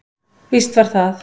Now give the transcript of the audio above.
Víst var það.